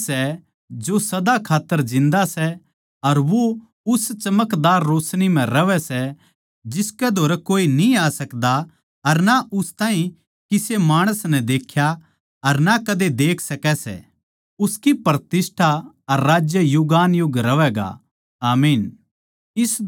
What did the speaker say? वोए सै जो सदा खात्तर जिन्दा सै अर वो उस चमकदार रोशनी म्ह रहवै सै जिसकै धोरै कोए न्ही आ सकदा अर ना उस ताहीं किसे माणस नै देख्या अर ना कद्दे भी देख सकै सै उसकी प्रतिष्ठा अर राज्य युगानुयुग रहवैगा आमीन